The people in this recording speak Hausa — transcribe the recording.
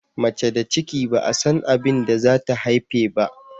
Mace da ciki ba'a san abinda zata haife ba.